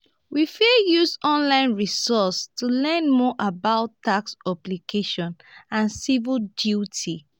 we fit use online resources to learn more about tax obligations and civic duties.